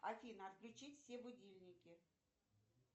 афина отключить все будильники